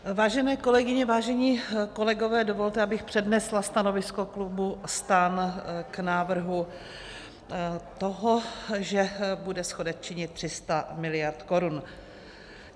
Vážené kolegyně, vážení kolegové, dovolte, abych přednesla stanovisko klubu STAN k návrhu toho, že bude schodek činit 300 miliard korun.